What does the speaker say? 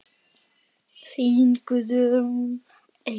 Þín Guðrún Eir.